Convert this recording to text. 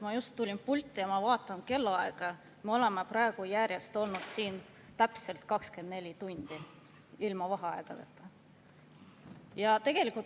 Ma just tulin pulti ja vaatan kellaaega: me oleme siin olnud järjest täpselt 24 tundi ilma vaheaegadeta.